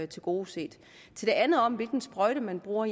tilgodeset til det andet om hvilken sprøjte man bruger